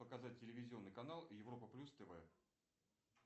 показать телевизионный канал европа плюс тв